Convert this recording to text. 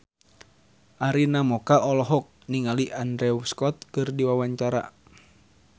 Arina Mocca olohok ningali Andrew Scott keur diwawancara